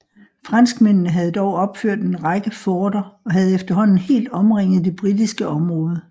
Franskmændene havde dog opført en række forter og havde efterhånden helt omringet det britiske områder